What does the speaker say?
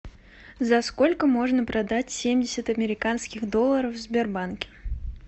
за сколько можно продать семьдесят американских долларов в сбербанке